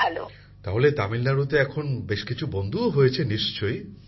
প্রধানমন্ত্রী জীঃ তাহলে তামিলনাড়ুতে এখন বেশ কিছু বন্ধুও হয়েছে নিশ্চয়ই